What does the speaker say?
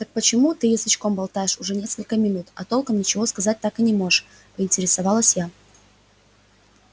так почему ты язычком болтаешь уже несколько минут а толком ничего сказать так и не можешь поинтересовалась я